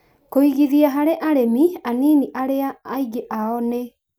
Kũigithia harĩ arĩmi anini arĩa aingĩ ao nĩ